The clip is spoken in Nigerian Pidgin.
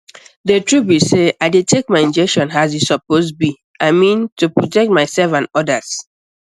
the truth be sey i dey take my injection as e suppose be i mean to protect myself and others